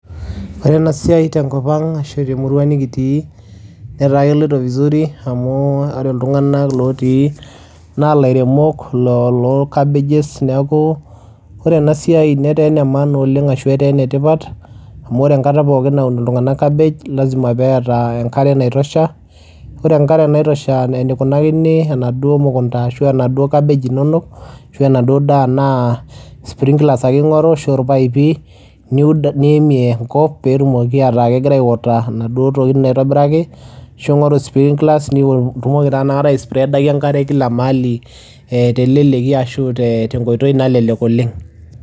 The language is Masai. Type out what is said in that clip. Ore ena siai tenkop ang' ashu te murua nekitii netaa keloito vizuri amu ore iltung'anak lotii naa ilairemok lo loo cabbages. Neeku ore ena siai netaa ene maana oleng' ashu etaa ene tipat amu ore enkata pookin naun iltung'anak cabbage lazima peeta enkare naitosha. Ore enkare naitosha enikunakini enaduo mukunda ashu enaduo cabbage inonok, ashu enaduo daa naa sprinklers ake ing'oru ashu irpaipi niud niimie enkop peetumoki ataa kegira aiwater enaduo tokitin naitobiraki ashu ing'oru sprinklers niwo itumoki taa inakata aispreada enkare kila mahali te leleki ashu tenkoitoi nalelek oleng'.